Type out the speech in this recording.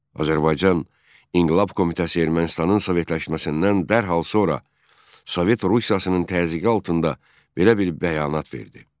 Azərbaycan İnqilab Komitəsi Ermənistanın sovetləşməsindən dərhal sonra Sovet Rusiyasının təzyiqi altında belə bir bəyanat verdi.